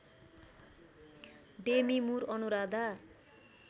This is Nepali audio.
डेमी मुर र अनुराधा